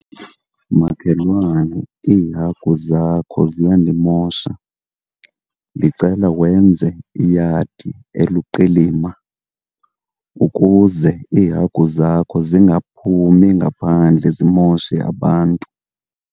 Makhelwane iihagu zakho ziyandimosha. Ndicela wenze iyadi eluqilima ukuze iihagu zakho zingaphumi ngaphandle zimoshe abantu.